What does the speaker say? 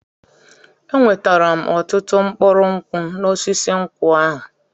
Enwetara m ọtụtụ mkpụrụ nkwụ n'osisi nkwụ ahụ.